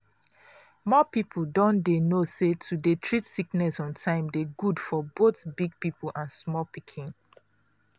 more people don dey know say to dey treat sickness on time dey good for both big people and small pikin.